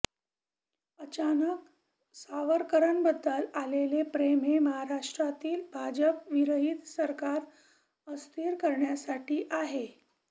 अचानक सावरकरांबद्दल आलेले प्रेम हे महाराष्ट्रातील भाजपविरहित सरकार अस्थिर करण्यासाठी आहे